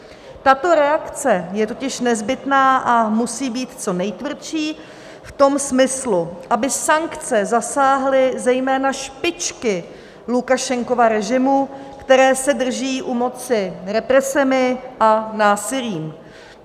Tato reakce je totiž nezbytná a musí být co nejtvrdší v tom smyslu, aby sankce zasáhly zejména špičky Lukašenkova režimu, které se drží u moci represemi a násilím.